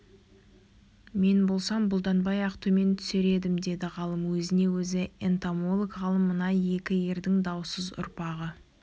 мен болсам бұлданбай-ақ төмен түсер едім деді ғалым өзіне өзі энтомолог-ғалым мына екі ердің даусыз ұрпағы